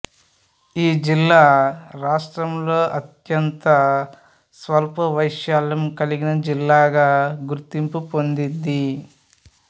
ఈ జిల్లా రాష్ట్రంలో అత్యంత స్వల్పవైశాల్యం కలిగిన జిల్లాగా గుర్తింపు పొందింది